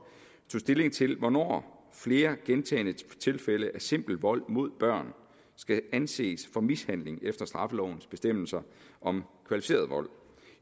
tog stilling til hvornår flere gentagne tilfælde af simpel vold mod børn skal anses for mishandling efter straffelovens bestemmelser om kvalificeret vold